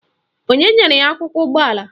Onye nyere ya akwụkwọ ụgbọala?